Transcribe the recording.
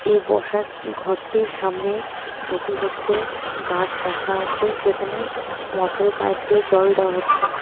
এই বসার ঘরটির সামনে দুটি হচ্ছে গাছ রাখা আছে যেখানে মটরে পাইপ দিয়ে জল দেওয়া হচ্ছে.